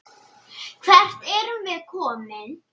Hvert erum við komin?